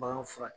Bagan fura